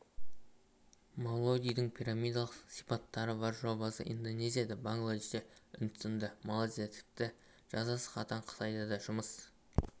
мавродидің пирамидалық сипаттары бар жобасы индонезияда бангладеште үндістанда малайзияда тіпті жазасы қатаң қытайда да жұмыс